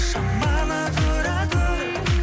шамалы тұра тұр